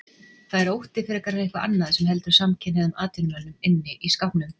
Það er ótti, frekar en eitthvað annað, sem heldur samkynhneigðum atvinnumönnum inni í skápnum.